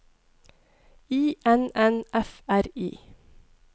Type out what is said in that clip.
I N N F R I